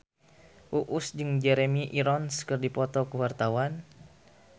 Uus jeung Jeremy Irons keur dipoto ku wartawan